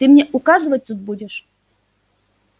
ты мне указывать тут будешь